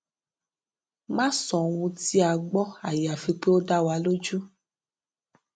má sọ ohun tí a gbọ àyàfi pé ó dá wa lójú